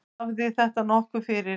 Tafði þetta nokkuð fyrir.